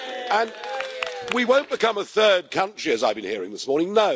And we won't become a third country, as I've been hearing this morning.